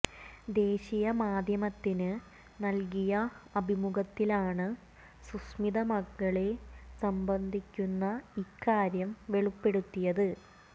ദേശീയ മാധ്യമത്തിന് നൽകിയ അഭിമുഖത്തിലാണ് സുസ്മിത മകളെ സംബന്ധിക്കുന്ന ഈക്കാര്യം വെളിപ്പെടുത്തിയത്